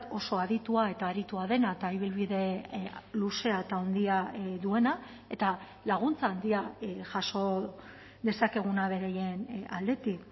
oso aditua eta aritua dena eta ibilbide luzea eta handia duena eta laguntza handia jaso dezakeguna beraien aldetik